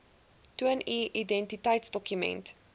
toon u identiteitsdokument